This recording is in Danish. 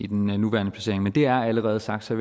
den nuværende placering men det er allerede sagt så